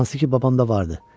Hansı ki babam da vardı.